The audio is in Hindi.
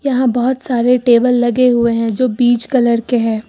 यहां बहुत सारे टेबल लगे हुए हैं जो बीज कलर के हैं।